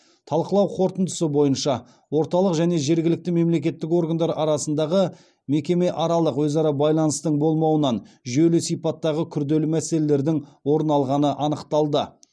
талқылау қорытындысы бойынша орталық және жергілікті мемлекеттік органдар арасындағы мекемеаралық өзара байланыстың болмауынан жүйелі сипаттағы күрделі мәселелердің орын алғаны анықталды